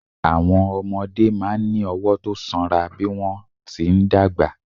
Àwọn ọmọdé máa ń ní ọwọ́ tó sanra bí wọ́n ti ń dàgbà.